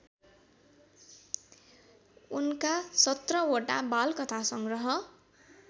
उनका १७ वटा बालकथासंग्रह